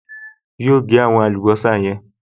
Yóò gẹ́ àwọn àlùbọ́sà yẹn